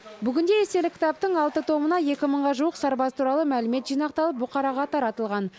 бүгінде естелік кітаптың алты томына екі мыңға жуық сарбаз туралы мәлімет жинақталып бұқараға таратылған